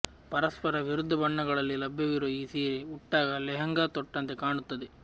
ಪರಸ್ಪರ ವಿರುದ್ಧ ಬಣ್ಣಗಳಲ್ಲಿ ಲಭ್ಯವಿರುವ ಈ ಸೀರೆ ಉಟ್ಟಾಗ ಲೆಹೆಂಗಾ ತೊಟ್ಟಂತೆ ಕಾಣುತ್ತದೆ